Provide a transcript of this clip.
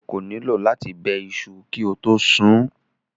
O kò nílò láti bẹ iṣu kí o tó sun ún.